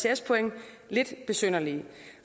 ects point lidt besynderlig